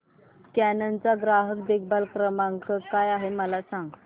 canon चा ग्राहक देखभाल नंबर काय आहे मला सांग